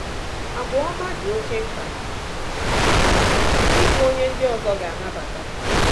Àgwà ọma “dị oké mkpa n’ịbụ onye ndị ọzọ ga-anabata